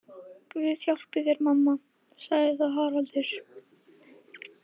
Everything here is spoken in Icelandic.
Guð hjálpi þér mamma, sagði þá Haraldur.